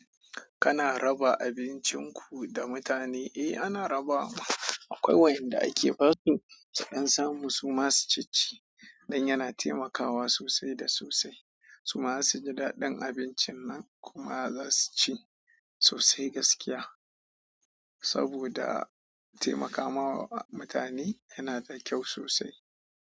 Kana raba abincin ku da mutane? Eh ana raba wa. Akwai wayanda ake basu su dan samu su ma su cicci. Don yana taimakawa sosai da sosai. Su ma za su ji daɗin abincin nan kuma za su ci sosai gaskiya. Saboda taimakawa mutane yana da kyau sosai.